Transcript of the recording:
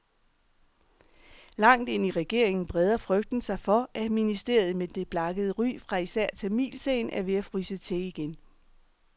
Langt ind i regeringen breder frygten sig for, at ministeriet med det blakkede ry fra især tamilsagen er ved at fryse til igen.